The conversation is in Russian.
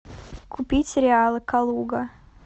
купить реалы калуга